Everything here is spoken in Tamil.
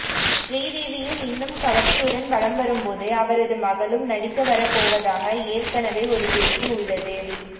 ஸ்ரீதேவியே இன்னும் கவர்ச்சியுடன் வலம் வரும்போது அவரது மகளும் நடிக்க வரப் போவதாக ஏற்கனவே ஒரு பேச்சு உள்ளது